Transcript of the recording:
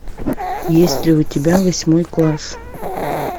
есть ли у тебя восьмой класс